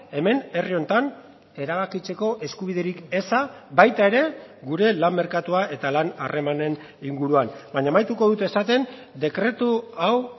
hemen herri honetan erabakitzeko eskubiderik eza baita ere gure lan merkatua eta lan harremanen inguruan baina amaituko dut esaten dekretu hau